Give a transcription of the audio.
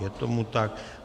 Je tomu tak.